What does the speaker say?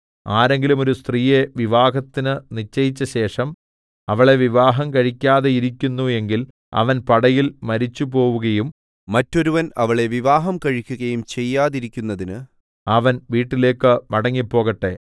ആരെങ്കിലും ഒരു സ്ത്രീയെ വിവാഹത്തിന് നിശ്ചയിച്ചശേഷം അവളെ വിവാഹം കഴിക്കാതെയിരിക്കുന്നു എങ്കിൽ അവൻ പടയിൽ മരിച്ചുപോകയും മറ്റൊരുവൻ അവളെ വിവാഹം കഴിക്കുകയും ചെയ്യാതിരിക്കുന്നതിന് അവൻ വീട്ടിലേക്ക് മടങ്ങിപ്പോകട്ടെ